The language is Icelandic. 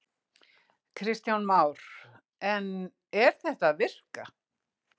Kristján Már: En er þetta að virka?